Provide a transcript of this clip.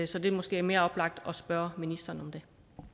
så det er måske mere oplagt at spørge ministeren